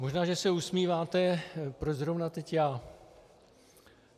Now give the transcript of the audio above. Možná že se usmíváte, proč zrovna teď já.